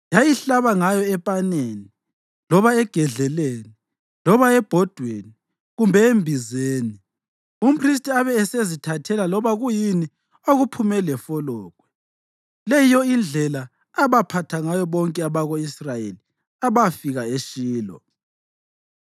Yayihlaba ngayo epaneni loba egedleleni loba ebhodweni kumbe embizeni, umphristi abe esezithathela loba kuyini okuphume lefologwe. Le yiyo indlela abaphatha ngayo bonke abako-Israyeli abafika eShilo.